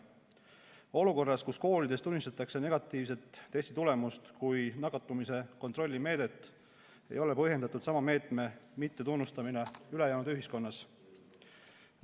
Olukorras, kus koolides tunnistatakse negatiivset testitulemust kui nakatumise kontrolli meedet, ei ole põhjendatud sama meetme mittetunnustamine ülejäänud ühiskonnas.